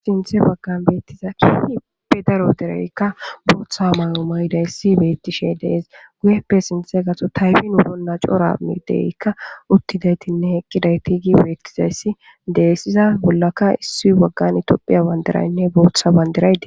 Sinthe baggan beettizakhu hipe daro dereykka booththa may'o maydayssi beettishe dees guyeppe sinthe gaxo taybin uronna coora mideykka uttidaytinne heqqidayti gi beettizayssi deessiza bollaka issu baggan itophiya bandiraynne booththa bandiraydi.